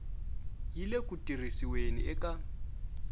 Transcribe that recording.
yi le ku tirhisiweni eka